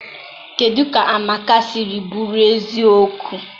kedụ ka Amaka siri bụrụ eziokwu?